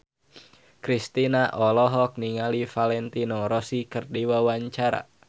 Kristina olohok ningali Valentino Rossi keur diwawancara